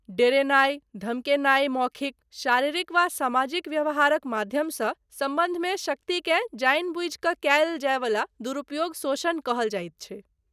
डेरेनाइ धमकेनाइ मौखिक, शारीरिक वा समाजिक व्यवहारक माध्यमसँ सम्बन्धमे शक्तिकेँ जानिबुझि कऽ कयल जायवला दुरुपयोग शोषण कहल जाइत छै।